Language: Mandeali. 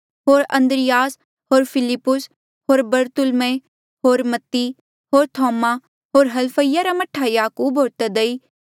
होर अन्द्रियास होर फिलिप्पुस होर बरतुल्मै होर मत्ती होर थोमा होर हलफईसा रा मह्ठा याकूब होर तद्दै होर समौन कनानी